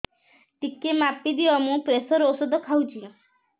ଟିକେ ମାପିଦିଅ ମୁଁ ପ୍ରେସର ଔଷଧ ଖାଉଚି